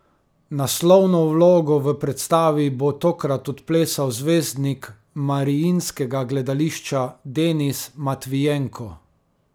Naslovno vlogo v predstavi bo tokrat odplesal zvezdnik Mariinskega gledališča Denis Matvijenko.